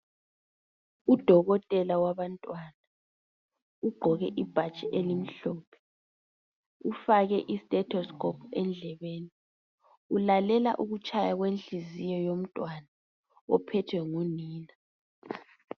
Udokotela wabantwana ugqoke ibhatshi elimhlophe ufake isitetosicopu endlebeni, ulalela ukutshaya kwenhliziyo yomntwana ophethwe ngunina.